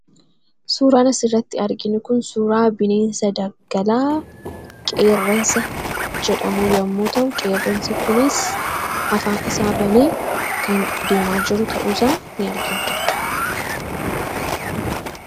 suuraan asirratti arginu kun suuraa bineensa daggalaa qeerransa jedhamu yoo ta'u, qeerransi kunis afaan isaa banee kan deemaa jiru ta'uusaa ni argina.